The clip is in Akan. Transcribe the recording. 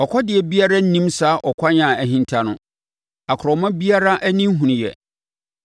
Ɔkɔdeɛ biara nnim saa kwan a ahinta no, akorɔma biara ani nhunuiɛ.